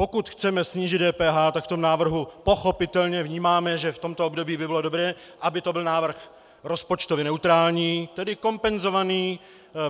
Pokud chceme snížit DPH, tak v tom návrhu pochopitelně vnímáme, že v tomto období by bylo dobré, aby to byl návrh rozpočtově neutrální, tedy kompenzovaný